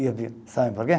E eu vi, sabe por quê?